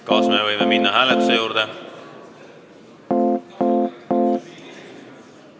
Kas me võime minna hääletuse juurde?